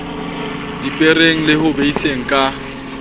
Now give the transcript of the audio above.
dipereng le ho beiseng ka